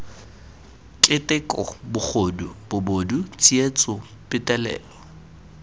keteko bogodu bobod tsietso petelelo